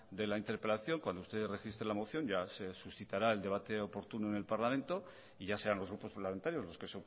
de la interpelación cuando usted registre la moción ya se suscitará el debate oportuno en el parlamento y ya serán los grupos parlamentarios los que